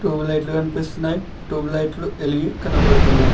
Tube లైట్లు కనిపిస్తున్నాయి tube లైట్లు ఎలిగి కనబడుతున్నాయి.